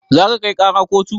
Za ka kai ƙara kotu?